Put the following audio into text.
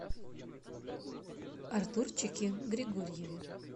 артурчике григорьеве